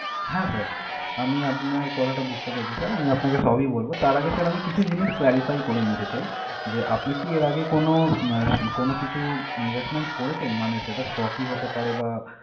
হ্যাঁ sir আমি আপনার কথাটা বুঝতে পেরেছি sir । আমি আপনাকে সবই বলবো তার আগে sir আমি কিছু জিনিস clarify করে নিতে চাই যে, আপনি কী এর আগে কোনও আহ কোনও কিছু investment করেছেন? মানে সেটা stock ই হতে পারে বা